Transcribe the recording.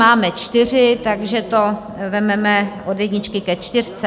Máme čtyři, takže to vezmeme od jedničky ke čtyřce.